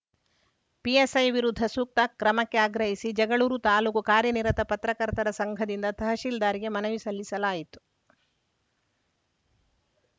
PSI ವಿರುದ್ಧ ಸೂಕ್ತ ಕ್ರಮಕ್ಕೆ ಆಗ್ರಹಿಸಿ ಜಗಳೂರು ತಾಲೂಕು ಕಾರ್ಯನಿರತ ಪತ್ರಕರ್ತರ ಸಂಘದಿಂದ ತಹಸೀಲ್ದಾರ್‌ಗೆ ಮನವಿ ಸಲ್ಲಿಸಲಾಯಿತು